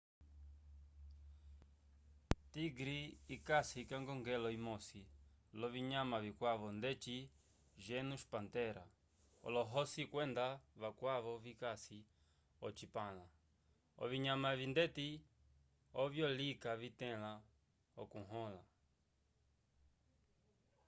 tigre ikasi k’ekongelo imosi l’ovinyama vikwavo ndeci genus panthera olohosi kwenda vakwavo vikasi ocipãla. ovinyama evi ndeti ovyo lika vitẽla okuhõla